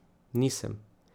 Nisem.